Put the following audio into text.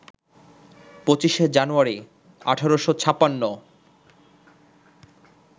২৫শে জানুয়ারি, ১৮৫৬